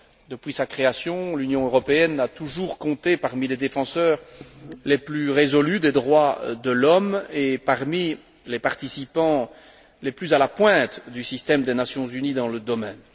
Depuis sa création, l'Union européenne a toujours compté parmi les défenseurs les plus résolus des droits de l'homme et parmi les participants les plus à la pointe du système des Nations unies dans ce domaine.